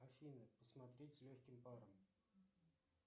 афина посмотреть с легким паром